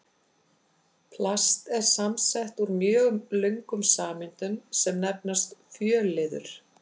Plast er samsett úr mjög löngum sameindum sem nefnast fjölliður.